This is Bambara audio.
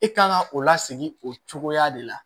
E kan ka o lasegin o cogoya de la